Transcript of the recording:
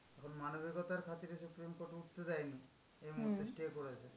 এখন মানবিকতার খাতিরে supreme court উঠতে দেয় নি, এই মুহূর্তে stay করেছে।